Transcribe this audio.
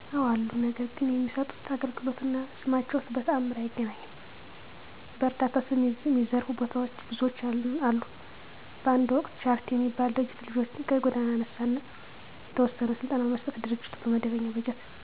አወ አሉ። ነገር ግን የሚሠጡት አገልግሎት እና ስማቸው በተአምር አይገናኝም። በዕረዳታ ስም የሚዘርፉ ብዙዎች አሉ። በአንድ ወቅት ቻረቲ የሚባል ድርጅት ልጆችን ከጎዳና አነሣ አና የተወሰነ ስልጠና በመስጠት ድርጅቱ ከመደበው በጀት ባለሞያወች ግማሹን በማስቀረት ልጆችን በበባዶው ሰደዷቸው። አና አጭበርባሪ እንዳለ ሁሉ ደካማ ማሕበረሰብ የሚየግዙ አሉ።